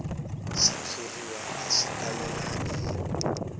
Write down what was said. xitshuriwa a xi talelangi hi